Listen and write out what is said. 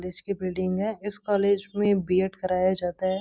College की building है इस कॉलेज में बी.एड कराया जाता है।